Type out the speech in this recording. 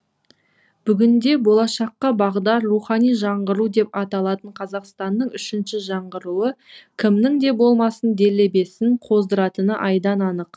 бүгінде болашаққа бағдар рухани жаңғыру деп аталатын қазақстанның үшінші жаңғыруы кімнің де болмасын делебесін қоздыратыны айдан анық